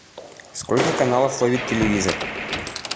сколько каналов ловит телевизор